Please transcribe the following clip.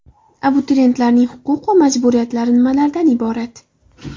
Abituriyentlarning huquq va majburiyatlari nimalardan iborat?.